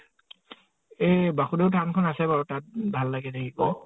এ বাসুধৰ ধাম খন আছে বাৰু । তাত ভাল লাগে দেখিব ।